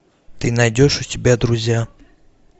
ты найдешь у себя друзья